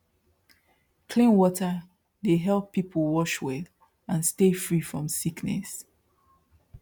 clean water dey help people wash well and stay free from sickness